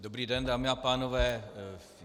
Dobrý den, dámy a pánové.